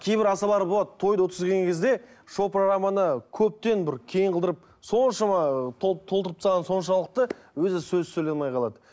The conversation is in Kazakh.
кейбір асабалар болады тойды өткізген кезде шоу программаны көптен бір кең қылдырып соншама толтырып тастағаны соншалықты өзі сөз сөйлей алмай қалады